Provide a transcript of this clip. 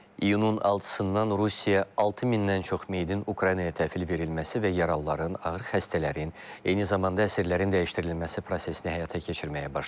İyunun 6-dan Rusiya 6000-dən çox meyidin Ukraynaya təhvil verilməsi və yaralıların, ağır xəstələrin, eyni zamanda əsirlərin dəyişdirilməsi prosesini həyata keçirməyə başlayıb.